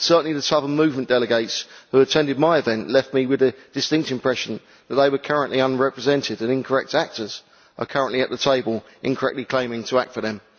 Certainly the Southern Movement delegates who attended my event left me with the distinct impression that they were currently unrepresented and that incorrect actors are currently at the table, incorrectly claiming to act for them.